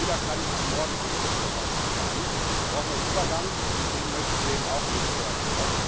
Nicht jeder kann ab morgen ein Elektroauto fahren, da braucht man einen Übergang, und den möchten wir eben auch mit fördern.